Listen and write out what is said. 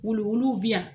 Wuluwulu bi yan